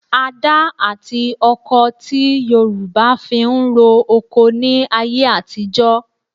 Adá àti ọkọh ti Yorùbá fi ń ro oko ní ayé àtijọ́